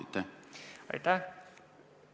Aitäh!